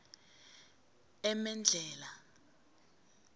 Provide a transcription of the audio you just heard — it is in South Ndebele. emedlhela